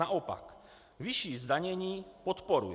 Naopak, vyšší zdanění podporuji.